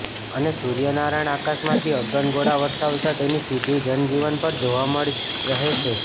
અને સુર્યનારાયણ આકામાંથી અગન ગોળા વરસાવતા તેની સીધી જનજીવન પર જોવા મળી રહી છે